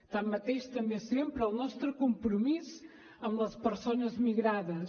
tanmateix també sempre el nostre compromís amb les persones migrades